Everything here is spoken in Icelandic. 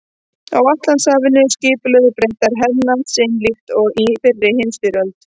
Á Atlantshafi skipulögðu Bretar hernað sinn líkt og í fyrri heimsstyrjöld.